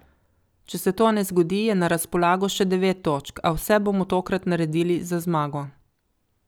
Če se to ne zgodi, je na razpolago še devet točk, a vse bomo tokrat naredili za zmago.